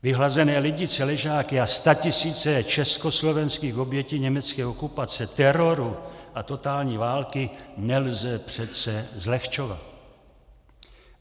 Vyhlazené Lidice, Ležáky a statisíce československých obětí německé okupace, teroru a totální války nelze přece zlehčovat.